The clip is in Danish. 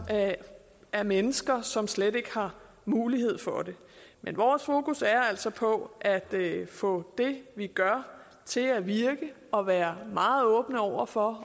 af mennesker som slet ikke har mulighed for det men vores fokus er altså på at få det vi gør til at virke og være meget åbne over for